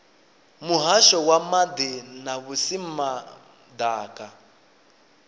muhasho wa maḓi na vhusimama ḓaka